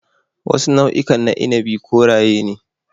Wasu nau'ikan na inabi koraye ne.